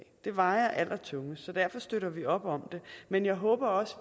det vejer allertungest så derfor støtter vi op om det men jeg håber også